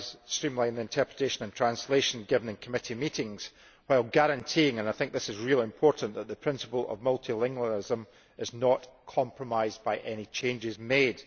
streamline the interpretation and translation given in committee meetings while guaranteeing and I think this is really important that the principle of multilingualism is not compromised by any changes made.